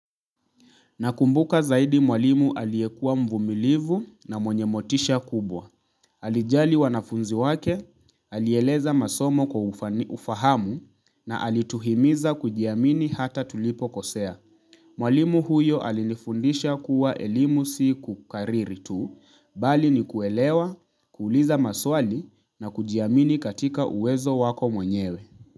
Nakumbuka zaidi mwalimu aliyekua mvumilivu na mwenye motisha kubwa. Alijali wanafunzi wake, alieleza masomo kwa ufahamu na alituhimiza kujiamini hata tulipo kosea. Mwalimu huyo alinifundisha kuwa elimu si kukariri tu, bali ni kuelewa, kuuliza maswali na kujiamini katika uwezo wako mwenyewe.